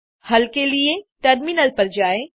हल के लिए टर्मिनल पर जाएँ